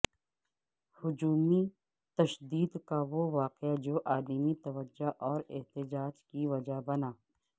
ہجومی تشدد کا وہ واقعہ جو عالمی توجہ اور احتجاج کی وجہ بنا